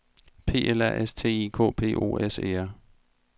P L A S T I K P O S E R